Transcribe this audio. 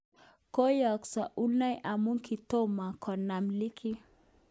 Koyesho Unai amun kitomo konam ligi.